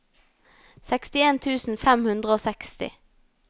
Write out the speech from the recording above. sekstien tusen fem hundre og seksti